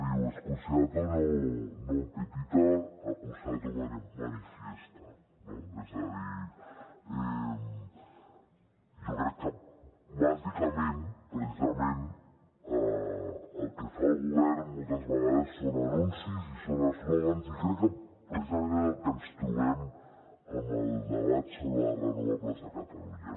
diu excusatio non petita accusatio manifestaque bàsicament precisament el que fa el govern moltes vegades són anuncis i són eslògans i crec que precisament és el que ens trobem en el debat sobre les renovables a catalunya